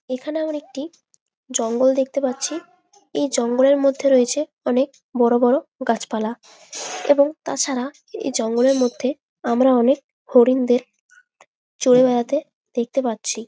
এখানে আমরা একটি জঙ্গল দেখতে পাচ্ছি। এই জঙ্গলের মধ্যে রয়েছে অনেক বড় বড় গাছপালা এবং তাছাড়া এই জঙ্গলের মধ্যে আমরা অনেক হরিণদের চরে বেড়াতে দেখতে পাচ্ছি।